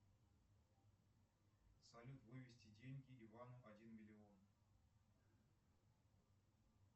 салют вывести деньги ивану один миллион